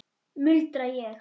muldra ég.